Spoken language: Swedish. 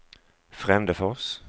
Frändefors